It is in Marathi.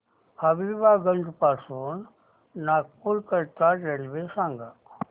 हबीबगंज पासून नागपूर करीता रेल्वे सांगा